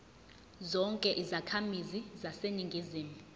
zonke izakhamizi zaseningizimu